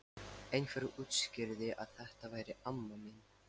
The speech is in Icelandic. Einhver útskýrði að þetta væri amma mín.